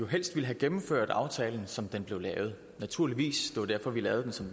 helst ville have gennemført aftalen som den blev indgået naturligvis det var derfor vi lavede den som